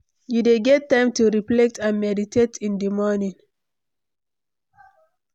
you dey get time to reflect and meditate in di morning?